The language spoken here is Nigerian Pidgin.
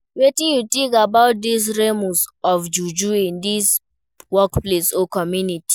Wetin you think about di remors of juju in di workplace or community?